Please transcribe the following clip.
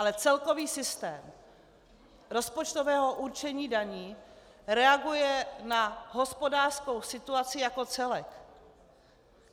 Ale celkový systém rozpočtového určení daní reaguje na hospodářskou situaci jako celek.